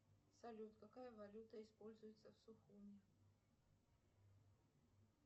салют какая валюта используется в сухуми